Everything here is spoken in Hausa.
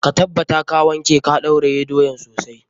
Ka tabbata ka wanke ka ɗauraye doyan sosai.